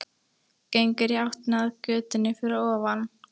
Gengur í áttina að götunni fyrir ofan.